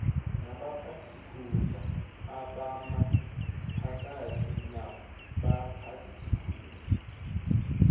nabaphathisikhundla abamaphakathi nabaphathisikhundla